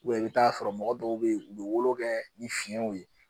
i bɛ t'a sɔrɔ mɔgɔ dɔw bɛ yen u bɛ wolo kɛ ni fiɲɛw ye